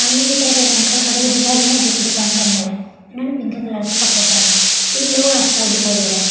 सामने की तरफ एक अंकल खड़े हुए दिखाई दे रहे हैं जो कि दुकान के अंदर है इन्होने पिंक कलर के कपडे पहने है तीन लोग आस-पास दिखाई दे रहे हैं।